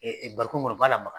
bariko kɔnɔ o b'a lamaga